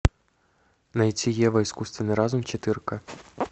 найти ева искусственный разум четырка